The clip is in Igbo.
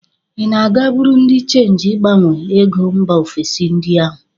Ị na-aga buru dị chenji ịgbanwe ego mba ofesi ndị ahụ?